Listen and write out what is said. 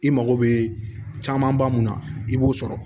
I mago bɛ camanba mun na i b'o sɔrɔ